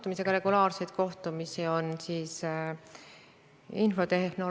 Ürituse eestvedaja on Eesti Kulinaaria Instituut, kes eraldab oma vahenditest 200 000 eurot.